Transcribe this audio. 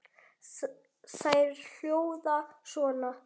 Þær hljóða svona